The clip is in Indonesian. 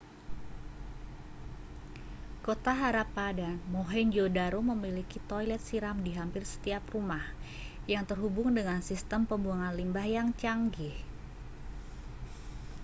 kota harappa dan mohenjo-daro memiliki toilet siram di hampir setiap rumah yang terhubung dengan sistem pembuangan limbah yang canggih